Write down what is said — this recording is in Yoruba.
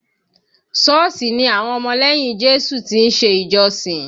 Șọ́ọ̀sì ni àwọn ọmọ lẹ́yìn Jésù ti ń ṣe ìjọ sìn